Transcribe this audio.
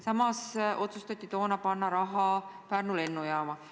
Samas otsustati toona panna raha Pärnu lennujaama rajamisele.